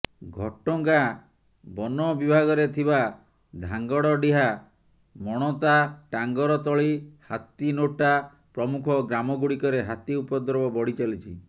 ଘଟଗାଁ ବନ ବିଭାଗରେ ଥିବା ଧାଙ୍ଗଡଡିହା ମଣତା ଟାଙ୍ଗରତଳୀ ହାତିନୋଟା ପ୍ରମୁଖ ଗ୍ରାମଗୁଡିକରେ ହାତୀ ଉପଦ୍ରବ ବଢ଼ିଚାଲିଛି